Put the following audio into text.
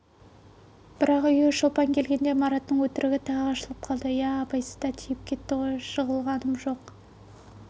бірақ үйге шолпан келгенде мараттың өтірігі тағы ашылып қалды иә абайсызда тиіп кетті ғой жығылғам жоқ